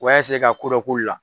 U b'a ka ko dɔ k'u la.